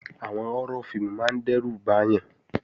Àwọn họ́rọ́ fíìmù máa ń dẹ́rù bàyàn